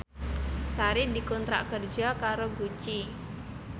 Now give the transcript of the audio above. Sari dikontrak kerja karo Gucci